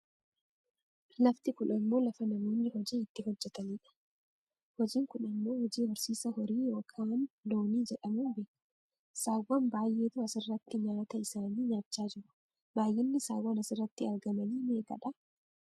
Lafti kun ammoo lafa namoonni hojii itti hojjatanidha. Hojiin kun ammoo hojii horsiisa horii yookaan loonii jedhamuun beekkama. Saawwan baayyeetu asirratti nyaata isaanii nyaachaa jiru. Baayyinni saawwan asirratti argamani meeqadha?